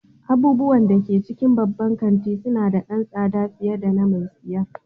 Abubuwan da ke cikin babban kanti suna da ɗan tsada fiye da na mai siyar.